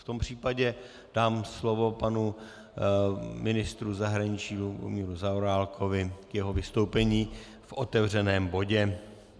V tom případě dám slovo panu ministru zahraničí Lubomíru Zaorálkovi k jeho vystoupení v otevřeném bodě.